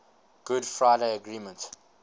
good friday agreement